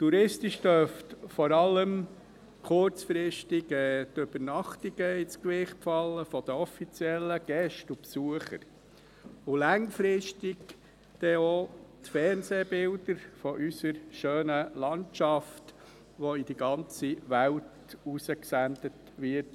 Touristisch dürften vor allem kurzfristig die Übernachtungen der offiziellen Gäste und der Besucher ins Gewicht fallen, langfristig dann auch die Fernsehbilder unserer schönen Landschaft, die in die ganze Welt hinaus gesendet werden.